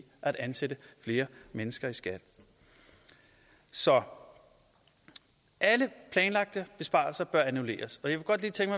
at ansætte flere mennesker i skat så alle planlagte besparelser bør annulleres